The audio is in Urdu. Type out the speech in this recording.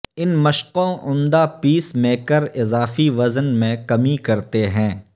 ان مشقوں عمدہ پیس میکر اضافی وزن میں کمی کرتے ہیں